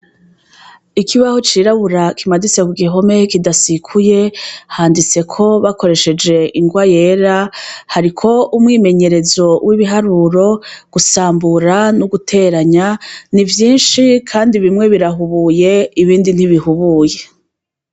Ikibaho cirabura kimaditse kugihome kidasikuye handitseko bakoresheje ingwa yera hariko umwimenyerezo w' ibiharuro gusambura no guteranya ni vyinshi kandi bimwe birahubuye ibindi ntibihubuye.